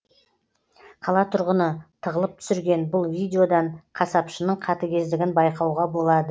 қала тұрғыны тығылып түсірген бұл видеодан қасапшының қатігездігін байқауға болады